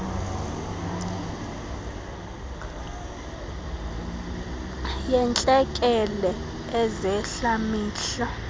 yeentlekele ezehla mihla